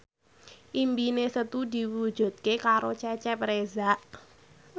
impine Setu diwujudke karo Cecep Reza